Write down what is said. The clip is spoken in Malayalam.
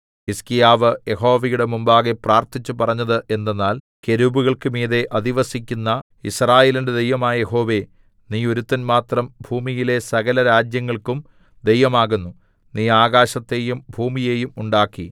ഹിസ്കീയാവ് യഹോവയുടെ മുമ്പാകെ പ്രാർത്ഥിച്ചു പറഞ്ഞത് എന്തെന്നാൽ കെരൂബുകൾക്കുമീതെ അധിവസിക്കുന്ന യിസ്രായേലിന്റെ ദൈവമായ യഹോവേ നീ ഒരുത്തൻ മാത്രം ഭൂമിയിലെ സകലരാജ്യങ്ങൾക്കും ദൈവം ആകുന്നു നീ ആകാശത്തെയും ഭൂമിയെയും ഉണ്ടാക്കി